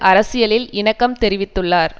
அரசியலில் இணக்கம் தெரிவித்துள்ளார்